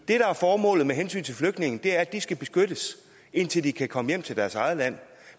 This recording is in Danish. er formålet med hensyn til flygtninge er at de skal beskyttes indtil de kan komme hjem til deres eget land